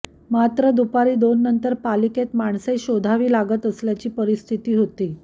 मात्र दुपारी दोननंतर पालिकेत माणसे शोधावी लागत असल्याची परिस्थिती होती